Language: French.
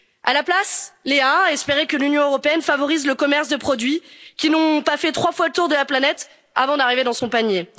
À la place, Léa a espéré que l'Union européenne favorise le commerce de produits qui n'ont pas fait 3 fois le tour de la planète avant d'arriver dans son panier.